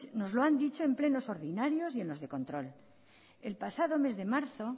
nos lo han dicho en plenos ordinarios y en los de control el pasado mes de marzo